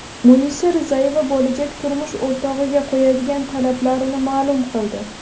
Munisa Rizayeva bo‘lajak turmush o‘rtog‘iga qo‘yadigan talablarini ma’lum qildi.